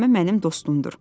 Həlimə mənim dostumdur.